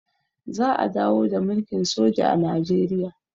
za a dawo da mulkin soji a najeriya